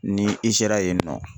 Ni i sera yen nɔ